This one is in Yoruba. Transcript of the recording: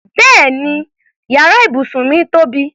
Bẹ́ẹ̀ni yàrá ibùsùn mí tóbi.